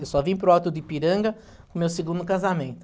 Eu só vim para o Alto de Ipiranga no meu segundo casamento.